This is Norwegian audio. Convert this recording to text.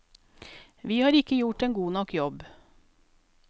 Vi har ikke gjort en god nok jobb.